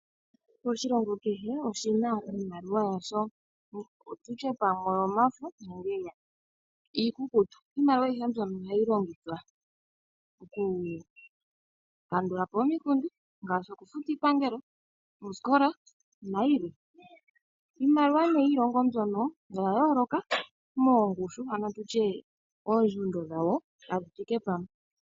Oshilongo kehe oshina iimaliwa yasho okutya oyomafo nenge iikukutu. Iimaliwa ohayihe mbyono ohayi longithwa okukandulapo omikundu ngaashi okufuta iipangelo, ooskola nayilwe. Iimaliwa ne yiilongo mbyono oya yooloka moongushu ano tuye oondjundo dhawo kadhi thike pamwe.